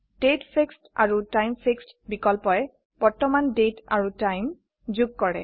তাৰিখ আৰু সময় বিকল্পয়ে বৰ্তমান তাৰিখ আৰু সময় যোগ কৰে